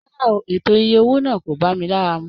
Rárá o, ètò ìyè owó náà o bá mí lára mú.